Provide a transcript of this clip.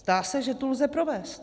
Zdá se, že tu lze provést.